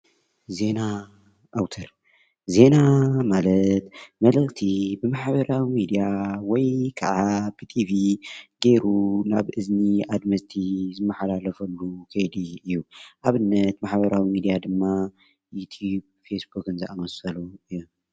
ዜና ኣውትር ፤ዜና ማለት መልእኽቲ ብማሕበራዊ ሚድያወይ ከዓ ብቲቪ ገይሩ ናብ እዝኒ ኣድመፅትን ዝመሓላለፍሉ ዘዲየ እዩ። ንኣብነትብማሕበራዊ መራከቢ ሓፋሽ ድማ ፌስቡክ ዩቱቡ ዘኣመሰሉ እዮም።